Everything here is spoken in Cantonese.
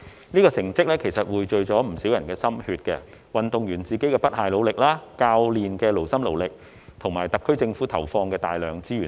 這成績其實匯聚了不少人的心血：運動員自身的不懈努力、教練的勞心勞力，以及特區政府投放的大量資源等。